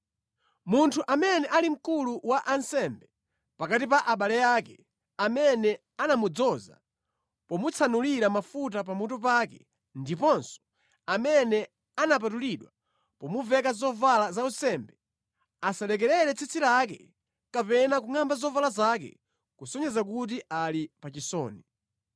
“ ‘Munthu amene ali mkulu wa ansembe pakati pa abale ake, amene anamudzoza pomutsanulira mafuta pamutu pake, ndiponso amene anapatulidwa pomuveka zovala zaunsembe, asalekerere tsitsi lake kapena kungʼamba zovala zake kusonyeza kuti ali pa chisoni.